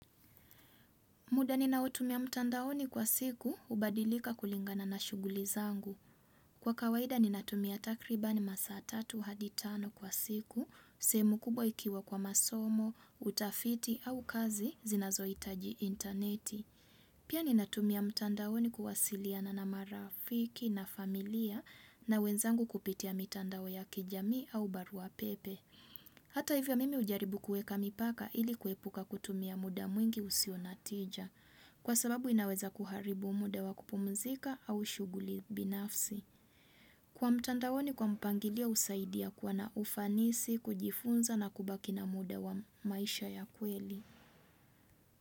Muda ninaotumia mtandaoni kwa siku, hubadilika kulingana na shuguli zangu. Kwa kawaida ninatumia takribani masa 3 hadi 5 kwa siku, sehemu kubwa ikiwa kwa masomo, utafiti au kazi, zinazo itaji interneti. Pia ninatumia mtandaoni kuwasiliana na marafiki na familia na wenzangu kupitia mtandao ya kijamii au barua pepe. Hata hivyo mimi ujaribu kueka mipaka ili kuepuka kutumia muda mwingi usio na tija. Kwa sababu inaweza kuharibu muda wa kupumzika au shuguli binafsi. Kwa mtandaoni kwa mpangilio usaidia kwa na ufanisi, kujifunza na kubaki na muda wa maisha ya kweli.